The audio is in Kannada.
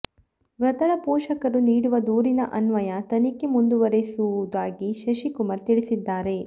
ಮೃತಳ ಪೋಷಕರು ನೀಡುವ ದೂರಿನ ಅನ್ವಯ ತನಿಖೆ ಮುಂದುವರೆಸುವುದಾಗಿ ಶಶಿಕುಮಾರ್ ತಿಳಿಸಿದ್ದಾರೆ